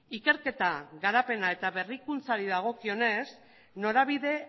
ikerketa garapena eta berrikuntzari dagokionez norabide